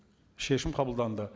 шешім қабылданды